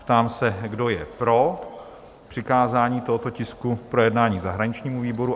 Ptám se, kdo je pro přikázání tohoto tisku k projednání zahraničnímu výboru?